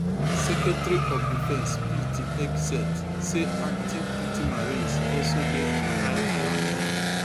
secretary of defence pete hegseth say active duty marines also dey on high alert